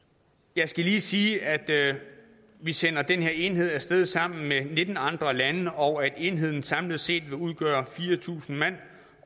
jeg skal lige sige at vi sender den her enhed af sted sammen med nitten andre lande og at enheden samlet set vil udgøre fire tusind mand